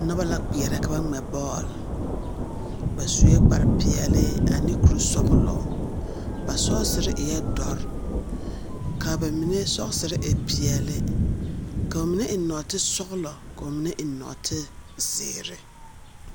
Noba la kpeɛrɛ ka ba ŋmɛ bɔɔl. ba sue kpare peɛle ane kuri sɔgelɔ. ba sgesere eɛ dɔre, ka ba mine sɔgesere e peɛle. Ka ba mine eŋ nɔɔte sɔgelɔ, ka ba mine eŋ nɔɔte zeere.